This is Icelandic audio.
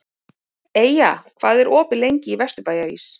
Eyja, hvað er opið lengi í Vesturbæjarís?